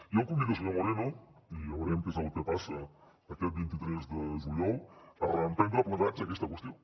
jo el convido senyor moreno i ja veurem què és el que passa aquest vint tres de juliol a reemprendre plegats aquesta qüestió